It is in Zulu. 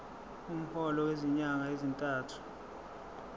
umholo wezinyanga ezintathu